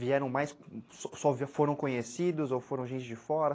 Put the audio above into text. Vieram mais... Só foram conhecidos ou foram gente de fora?